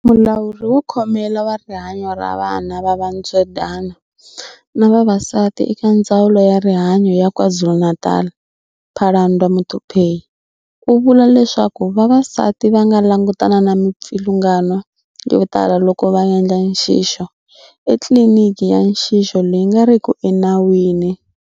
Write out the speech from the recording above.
Mulawuri wo Khomela wa Rihanyo ra Vana va Va ntswedyana na Vavasati eka Ndzawulo ya Rihanyo ya KwaZulu-Natal, Phalanndwa Muthuphei, u vula leswaku vavasati va nga langutana na mipfilungano yo tala loko va endla nxixo etliliniki ya nxixo leyi nga riki enawini.